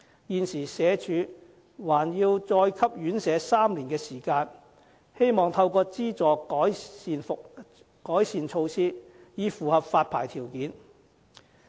現時社署還要再給予院舍3年的時間，希望透過資助院舍能實施改善措施，以符合發牌條件。